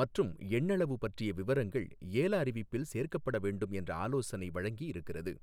மற்றும் எண்ணளவு பற்றிய விவரங்கள் ஏல அறிவிப்பில் சேர்க்கப்பட வேண்டும் என்ற ஆலோசனை வழங்கி இருக்கிறது.